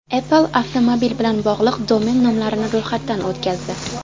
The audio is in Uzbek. Apple avtomobil bilan bog‘liq domen nomlarini ro‘yxatdan o‘tkazdi.